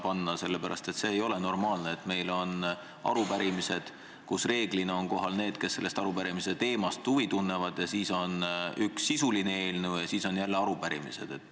Seda sellepärast, et ei ole normaalne, et meil on arupärimised, kus reeglina on kohal need, kes arupärimise teema vastu huvi tunnevad, ja seejärel on üks sisuline eelnõu ja siis on jälle arupärimised.